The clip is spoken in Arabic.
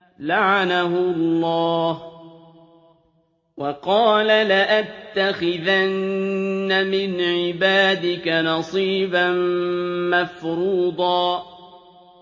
لَّعَنَهُ اللَّهُ ۘ وَقَالَ لَأَتَّخِذَنَّ مِنْ عِبَادِكَ نَصِيبًا مَّفْرُوضًا